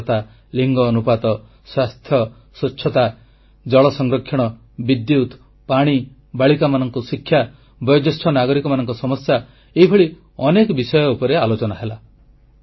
ସାକ୍ଷରତା ଲିଙ୍ଗ ଅନୁପାତ ସ୍ୱାସ୍ଥ୍ୟ ସ୍ୱଚ୍ଛତା ଜଳ ସଂରକ୍ଷଣ ବିଦ୍ୟୁତ୍ ପାଣି ବାଳିକାମାନଙ୍କୁ ଶିକ୍ଷା ବୟୋଜ୍ୟେଷ୍ଠ ନାଗରିକମାନଙ୍କ ସମସ୍ୟା ଏଭଳି ଅନେକ ବିଷୟ ଉପରେ ଆଲୋଚନା ହେଲା